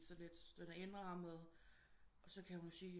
sådan lidt den indrammet og så kan hun sige